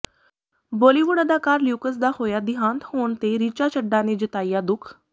ਬਾਲੀਵੁੱਡ ਅਦਾਕਾਰ ਲਿਊਕਸ ਦਾ ਹੋਇਆ ਦਿਹਾਂਤ ਹੋਣ ਤੇ ਰਿਚਾ ਚੱਡਾ ਨੇ ਜਤਾਇਆ ਦੁੱਖ